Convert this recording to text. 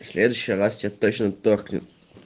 в следующий раз тебе точно торкнет